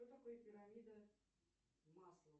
что такое пирамида маслоу